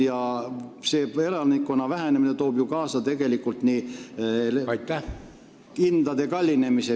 Ja see elanikkonna vähenemine toob ju kaasa vee, kanalisatsiooni jms hindade kallinemise.